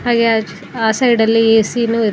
ಹಾಗೆ ಆ ಸೈಡಲ್ಲಿ ಏ_ಸಿ ನೂ ಇದೆ.